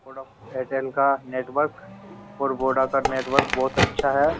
थोडा एयरटेल का नेटवर्क और वोडा का नेटवर्क बोहोत अच्छा है।